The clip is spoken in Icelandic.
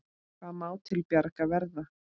Hvað má til bjargar verða?